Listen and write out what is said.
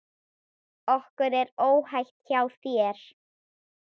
Okkur er óhætt hjá þér.